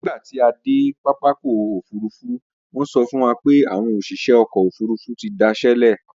Nígbà tí a dé pápákọ̀ òfurufú, wọ́n sọ fún wa pé àwọn òṣìṣẹ́ ọkọ̀ òfurufú ti da iṣẹ sílẹ̀